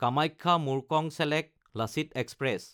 কামাখ্যা–মুৰ্কংচেলেক Lachit express